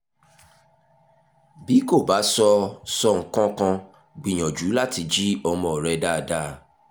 bí kò bá sọ sọ nǹkan kan gbìyànjú láti jí ọmọ rẹ dáadáa